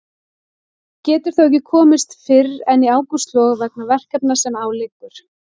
Getur þó ekki komist fyrr en í ágústlok vegna verkefna sem á liggur.